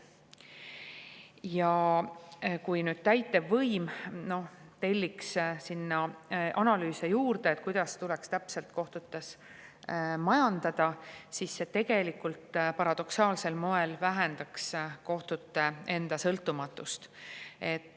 Ja kui täitevvõim telliks juurde analüüse, kuidas täpselt tuleks kohtutes majandada, siis see tegelikult paradoksaalsel moel vähendaks kohtute sõltumatust.